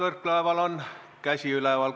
Mart Võrklaeval on käsi üleval.